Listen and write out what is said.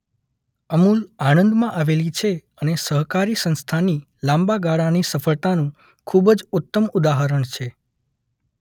અમૂલ આણંદમાં આવેલી છે અને સહકારી સંસ્થાની લાંબા ગાળાની સફળતાનું ખુબજ ઉત્તમ ઉદાહરણ છે.